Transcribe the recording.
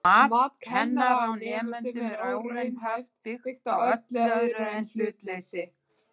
Mat kennara á nemendum er óraunhæft, byggt á öllu öðru en hlutleysi.